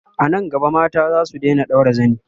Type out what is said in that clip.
anan gaba mata zasu Daina ɗaura zani